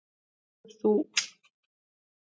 Hvað tekur þú?